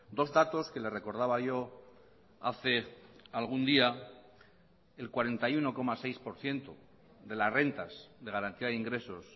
dos datos que le recordaba yo hace algún día el cuarenta y uno coma seis por ciento de las rentas de garantía de ingresos